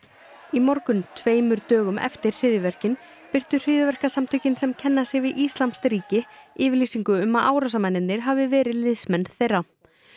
í morgun tveimur dögum eftir hryðjuverkin birtu hryðjuverkasamtökin sem kenna sig við íslamskt ríki yfirlýsingu um að árásarmennirnir hafi verið liðsmenn þeirra